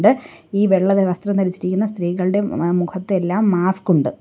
ഈ വെള്ള ധ വസ്ത്രം ധരിച്ചിരിക്കുന്ന സ്തീകളുടെ മ് മുഖത്തെല്ലാം മാസ്ക് ഉണ്ട്.